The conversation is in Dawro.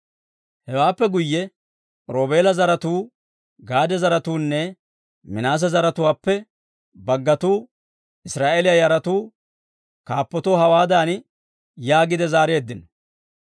Hewaappe guyye Roobeela zaratuu, Gaade zaratuunne Minaase zaratuwaappe baggatuu Israa'eeliyaa yaratuu kaappatoo hawaadan yaagiide zaareeddino;